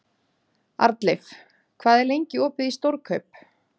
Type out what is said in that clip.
Arnleif, hvað er lengi opið í Stórkaup?